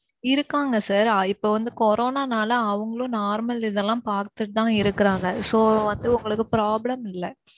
இருக்காங்க sir. இப்போ வந்து corona நாலே அவங்களும் normal இதெல்லாம் பாத்துட்டுதான் இருக்கிறாங்க. so வந்து உங்களுக்கு problem இல்ல.